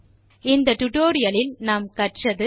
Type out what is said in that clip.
இந்த டுடோரியலில் நாம் கற்றது 1